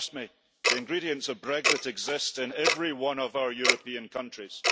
Trust me the ingredients of Brexit exist in every one of our European countries.